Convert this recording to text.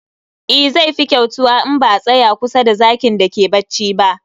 E, zai fi kyautuwa in ba a tsaya kusa da zakin da ke bacci ba